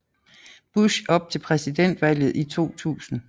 Bush op til præsidentvalget i 2000